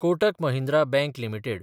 Kotak Mahindra bank limited